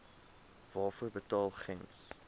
waarvoor betaal gems